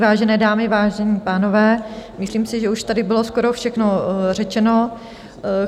Vážené dámy, vážení pánové, myslím si, že už tady bylo skoro všechno řečeno.